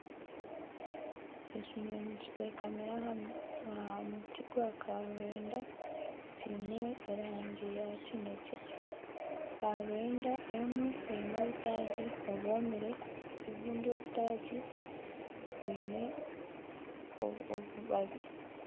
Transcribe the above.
Ekinyonyi kitekamire aha muti gwa karwenda kiine erangi ya kinekye, karwenda emwe eine obutaagi obwomire obundi obutaagi bwine obubabi